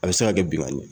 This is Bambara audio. A bɛ se ka kɛ binkani